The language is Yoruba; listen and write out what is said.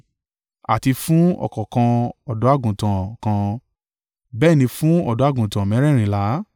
àti fún ọ̀kọ̀ọ̀kan ọ̀dọ́-àgùntàn kan. Bẹ́ẹ̀ ni fún ọ̀dọ́-àgùntàn mẹ́rẹ̀ẹ̀rìnlá.